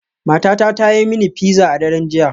Matata ta yi mini pizza a daren jiya.